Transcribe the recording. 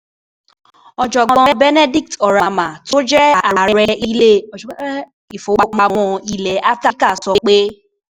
Ọ̀jọ̀gbọ́n Benedict Oramah, tó jẹ́ Ààrẹ Ilé Ìfowópamọ́ Ilẹ̀ Áfíríkà, sọ pé: